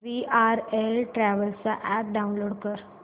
VRL travels चा app download कर